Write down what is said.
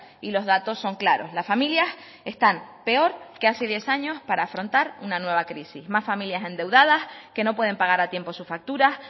y los datos son claros las familias están peor que hace diez años para afrontar una nueva crisis más familias endeudadas que no pueden pagar a tiempo sus facturas